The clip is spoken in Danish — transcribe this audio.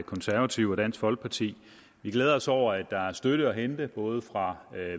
konservative og dansk folkeparti vi glæder os over at der er støtte at hente både fra